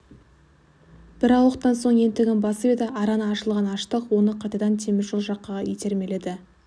бір ауықтан соң ентігін басып еді араны ашылған аштық оны қайтадан темір жол жаққа итермеледі